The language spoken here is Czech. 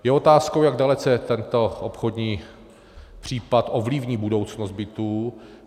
Je otázkou, jak dalece tento obchodní případ ovlivní budoucnost bytů.